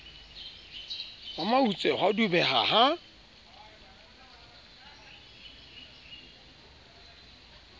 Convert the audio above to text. wa mautse ha dubeha ha